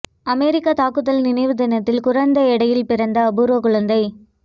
அமெரிக்க தாக்குதல் நினைவு தினத்தில் குறைந்த எடையில் பிறந்த அபூர்வ குழந்தை